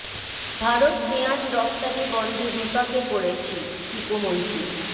ভারত পেঁয়াজ রফতানি বন্ধে বিপাকে পড়েছি ঃ টিপু মুনশি